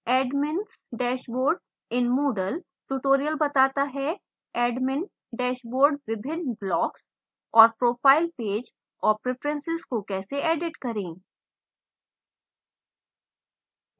admins dashboard in moodle tutorial बताता है admin dashboard